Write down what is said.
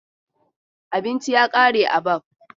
Abinci ya ƙare a Baff.